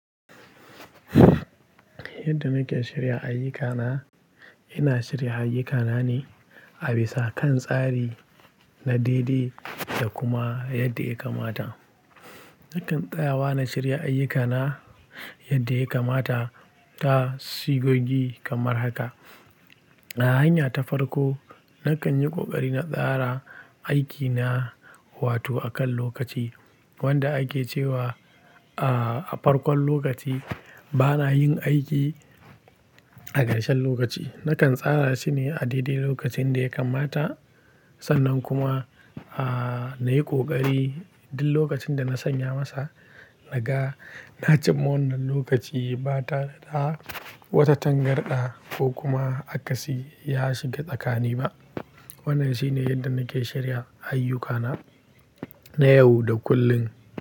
Yadda nake shirya ayyukana, ina shirya ayyukana ne a bisa kan tsari na daidai da kuma yadda ya kamata. Nakan tsayawa na shirya ayyukana yadda ya kamata ta sigogi kamar haka. A hanya ta farko, nakan yi ƙoƙari na tsara aikina, wato a kan lokaci wanda ake cewa a farkon lokaci bana yin aiki a ƙarshen lokaci. Nakan tsara shi ne a daidai lokacin da ya kamata. Sannan kuma, aa, na yi ƙoƙari duk lokacin da na sanya masa raga na cimma wannan lokaci ba ta da wata tangarɗa ko kuma akasi ya shiga tsakani ba. Wannan shine yadda nake shirya ayyukana na yau da kullum.